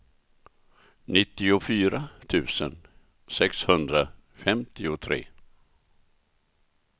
nittiofyra tusen sexhundrafemtiotre